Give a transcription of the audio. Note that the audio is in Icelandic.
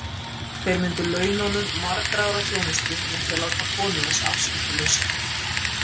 Þeir myndu launa honum margra ára þjónustu með því að láta konu hans afskiptalausa.